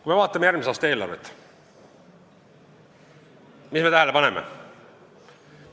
Kui me vaatame järgmise aasta eelarvet, mida me näeme?